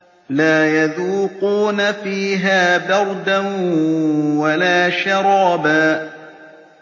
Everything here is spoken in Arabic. لَّا يَذُوقُونَ فِيهَا بَرْدًا وَلَا شَرَابًا